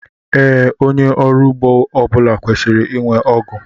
Ee, onye ọrụ ugbo ọbula kwesịrị ịnwe ọgụ